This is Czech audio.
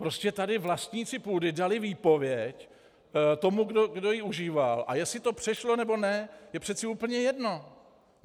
Prostě tady vlastníci půdy dali výpověď tomu, kdo ji užíval, a jestli to přešlo, nebo ne je přece úplně jedno.